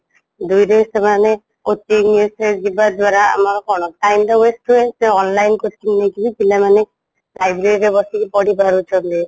ଦୁଇ ରେ ସେମାନେ coaching ସିଏ ଯିବା ଦ୍ୱାରା ଆମର କ'ଣ time ଟା waste ହୁଏ ତ online coaching ନେଇକି ବି ପିଲାମାନେ library ରେ ବସିକି ପଢି ପାରୁଛନ୍ତି